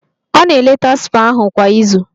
Ọ na-eleta spa ahụ kwa izu